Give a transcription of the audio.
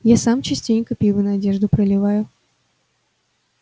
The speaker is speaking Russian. я сам частенько пиво на одежду проливаю